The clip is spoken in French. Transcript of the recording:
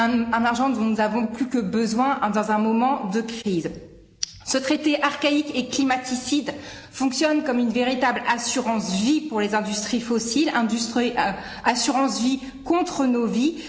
Un argent dont nous avons plus que besoin dans un moment de crise. Ce traité archaïque et climaticide fonctionne comme une véritable assurance vie pour les industries fossiles, assurance vie contre nos vies.